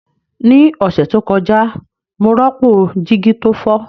Ní ọ̀sẹ̀ tó kọjá, mo rọ́pò jígí tó fọ́